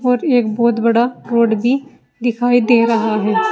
पर एक बहुत बड़ा रोड भी दिखाई दे रहा है।